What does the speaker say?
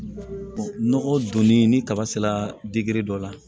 Nɔgɔ donni ni kaba sera dɔ la